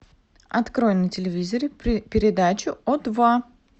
открой на телевизоре передачу о два